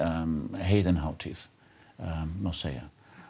heiðin hátíð má segja